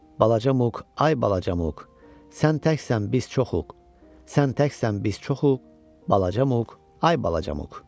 Balaca Muk, ay balaca Muk, sən təksən, biz çoxuq, sən təksən, biz çoxuq, balaca Muk, ay balaca Muk.